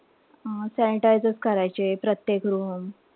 Sanitize करायचे प्रत्येक room.